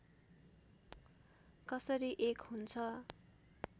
कसरी एक हुन्छ